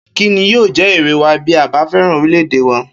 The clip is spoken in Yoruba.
Kí ni yóò jé̩ èrè wa bí a bá fé̩ràn orílè̩-èdè wa?